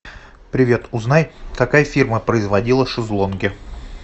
привет узнай какая фирма производила шезлонги